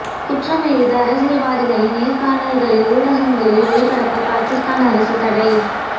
குற்றம் இழைத்த அரசியல்வாதிகளின் நேர்காணல்களை ஊடகங்களில் ஒளிபரப்ப பாகிஸ்தான் அரசு தடை